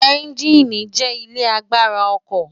ẹ́ńgíìnì jẹ́ ilé agbára ọkọ̀